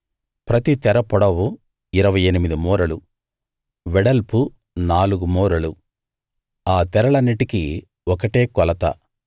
ప్రతి తెర పొడవు 28 మూరలు వెడల్పు నాలుగు మూరలు ఆ తెరలన్నిటికీ ఒకటే కొలత